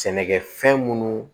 Sɛnɛkɛ fɛn munnu